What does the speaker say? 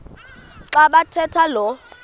xa bathetha lo